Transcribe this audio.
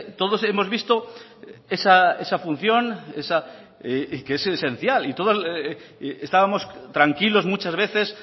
todos hemos visto esa función que es esencial y todos estábamos tranquilos muchas veces